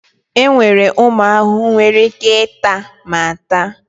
Enwere ụmụ ahụhụ nwere ike ịta ma ta.